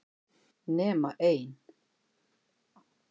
Nema ein.